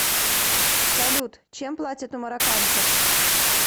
салют чем платят у марокканцев